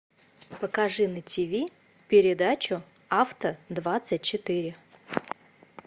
покажи на ти ви передачу авто двадцать четыре